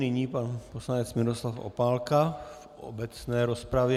Nyní pan poslanec Miroslav Opálka v obecné rozpravě.